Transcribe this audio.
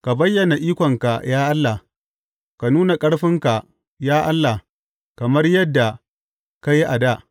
Ka bayyana ikonka, ya Allah; ka nuna ƙarfinka, ya Allah, kamar yadda ka yi a dā.